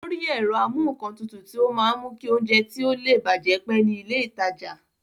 Ó rí ẹ̀rọ amúǹkantutù tí ó máa ń mú kí oúnjẹ tí ó le bàjẹ́ pẹ́ ní ilé ìtajà